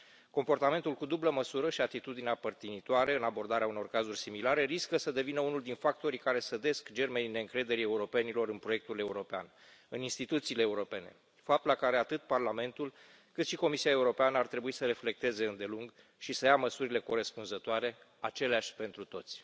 Comportamentul cu dublă măsură și atitudinea părtinitoare în abordarea unor cazuri similare riscă să devină unul din factorii care sădesc germenii neîncrederii europenilor în proiectul european, în instituțiile europene, fapt la care atât Parlamentul, cât și Comisia Europeană ar trebui să reflecteze îndelung și să ia măsurile corespunzătoare, aceleași pentru toți.